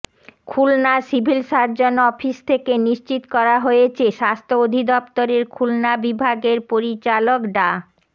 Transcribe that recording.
Khulna civil surgeon office থেকে নিশ্চিত করা হয়েছে স্বাস্থ্য অধিদপ্তরের খুলনা বিভাগের পরিচালক ডা